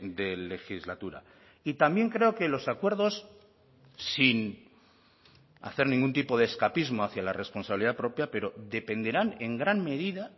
de legislatura y también creo que los acuerdos sin hacer ningún tipo de escapismo hacia la responsabilidad propia pero dependerán en gran medida